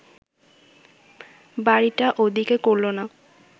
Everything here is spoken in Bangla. বাড়িটা ও দিকে করল না